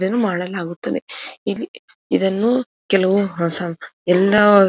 ಇದನ್ನು ಮಾಡಲಾಗುತ್ತದೆ ಇಲ್ಲಿ ಇದನ್ನು ಕೆಲವು ಹೊಸ ಎಲ್ಲಾ.